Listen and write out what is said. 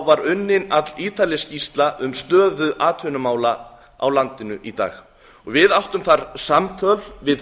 var unnin allítarleg skýrsla um stöðu atvinnumála á landinu í dag við áttum þar samtöl við